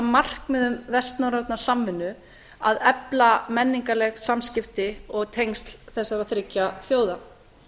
markmiðum vestnorrænnar samvinnu að efla menningarleg samskipti og tengsl þessara þriggja þjóða